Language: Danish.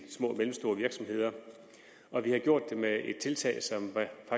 små og mellemstore virksomheder og vi har gjort det med et tiltag